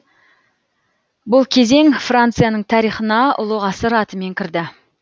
бұл кезең францияның тарихына ұлы ғасыр атымен кірді